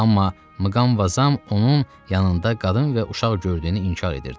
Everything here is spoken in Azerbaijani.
Amma Mqamvazam onun yanında qadın və uşaq gördüyünü inkar edirdi.